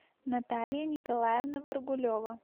наталья николаевна варгулева